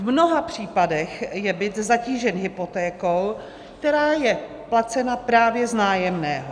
V mnoha případech je byt zatížen hypotékou, která je placena právě z nájemného.